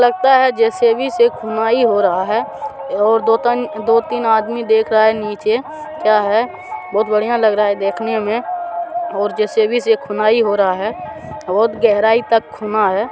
--लगता है जे_सी_बी से खुदाई हो रहा है और दो तीन आदमी देख रहा हैं निचे क्या है बहुत बढ़िया लग रहा है देखने में और ज सी बी से खुनाई हो रहा है बहुत गहरा खूना है ।